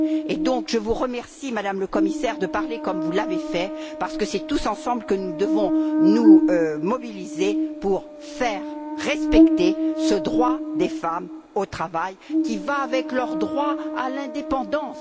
Par conséquent, je vous remercie, Madame la Commissaire, de parler comme vous l'avez fait, parce que c'est tous ensemble que nous devons nous mobiliser pour faire respecter ce droit des femmes au travail qui va de pair avec leur droit à l'indépendance.